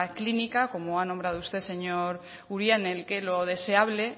clínica como ha nombrado usted señor uria en el que lo deseable